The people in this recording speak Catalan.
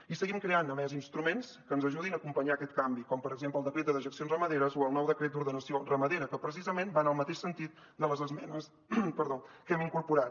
i seguim creant a més instruments que ens ajudin a acompanyar aquest canvi com per exemple el decret de dejeccions ramaderes o el nou decret d’ordenació ramadera que precisament va en el mateix sentit de les esmenes que hem incorporat